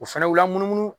O fɛnɛ la munumunu